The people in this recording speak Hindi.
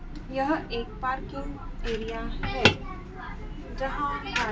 यह एक पार्किंग एरिया है जहां पर--